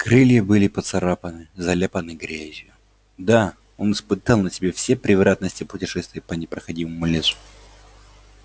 крылья были поцарапаны заляпаны грязью да он испытал на себе все превратности путешествия по непроходимому лесу